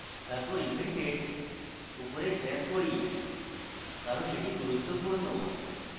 তারপর event date উপরে drag করি কারণ এটি গুরুত্বপূর্ণ